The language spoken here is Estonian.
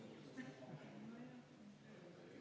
Vabandust!